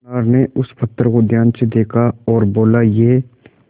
सुनार ने उस पत्थर को ध्यान से देखा और बोला ये